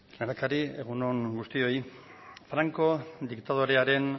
lehendakari egun on guztioi franco diktadorearen